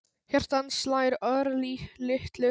Hjarta hans slær örlitlu hraðar en venjulega.